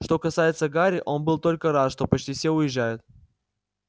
что касается гарри он был только рад что почти все уезжают